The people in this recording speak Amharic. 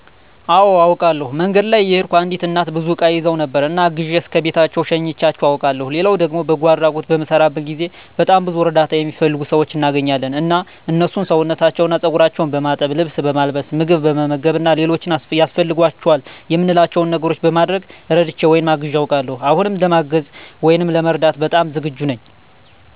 አወ አውቃለሁ። መንገድ ላይ እየሄድኩ አንዲት እናት ብዙ እቃ ይዘው ነበር እና አግዤ እስከ ቤታቸው ሸኝቻቸው አውቃለሁ ሌላው ደግሞ በጎ አድራጎት በምሰራበት ጊዜ በጣም ብዙ እርዳታ እሚፈልጉ ሰዎች እናገኛለን እና እነሱን ሰውነታቸውን እና ፀጉራቸውን በማጠብ፣ ልብስ በማልበስ፣ ምግብ በመመገብ እና ሌሎች ያስፈልጓቸዋል እምንላቸው ነገሮች በማድረግ እረድቼ ወይም አግዤ አውቃለሁ። አሁንም ለማገዝ ወይም ለመርዳት በጣም ዝግጁ ነኝ።